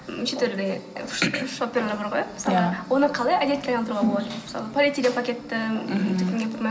неше түрлі шопперлар бар ғой мысалға оны қалай әдетке айналдыруға болады мысалы полиэтилен пакетті мхм